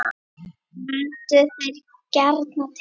Völdu þeir gjarnan til